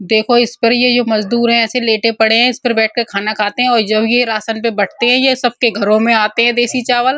देखो इस पर ये जो मजदूर है ऐसे लेटे पड़े हैं। इस पर बैठ कर खाना खाते हैं और जब ये राशन पर बँटते हैं। ये सब के घरों में आते हैं देसी चावल।